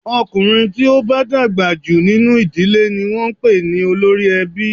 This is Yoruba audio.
Ọkùnrin tí ó bá dàgbà jù nínú ìdílé ni wọn ń pè ní olórí ẹbí.